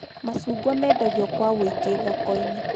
Macungwa mendagio kwa wũingĩ thoko-inĩ